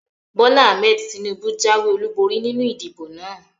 Bólá Ahmed Tinúbú jáwé ọlúborí nínu ìdìbò náà